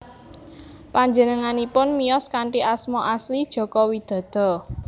Panjenenganipun miyos kanthi asma asli Joko Widodo